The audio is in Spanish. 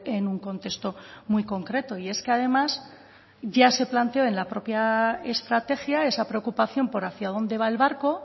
en un contexto muy concreto y es que además ya se planteó en la propia estrategia esa preocupación por hacia dónde va el barco